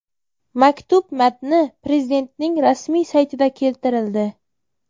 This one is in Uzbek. Maktub matni Prezidentning rasmiy saytida keltirildi .